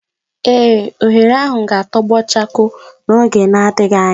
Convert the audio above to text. ee, oghere ahu ga-atogbo chakoo n'oge adighi anya